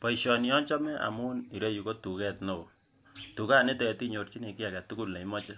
Boisioni achome amun ireyu ko tuket newoo tukanitet inyorchini kiy aketukul neimoche